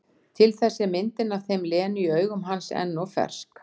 Til þess er myndin af þeim Lenu í augum hans enn of fersk.